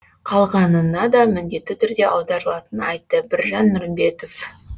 қалғанына да міндетті түрде аударылатынын айтты біржан нұрымбетов